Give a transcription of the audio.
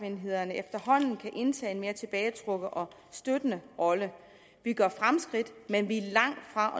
enhederne efterhånden kan indtage en mere tilbagetrukket og støttende rolle vi gør fremskridt men vi er langt fra